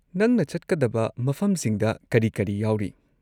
ꯅꯪꯅ ꯆꯠꯀꯗꯕ ꯃꯐꯝꯁꯤꯡꯗ ꯀꯔꯤ ꯀꯔꯤ ꯌꯥꯎꯔꯤ?